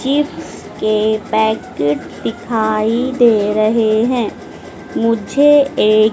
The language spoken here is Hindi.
चिप्स के पैकेट दिखाई दे रहे हैं मुझे एक--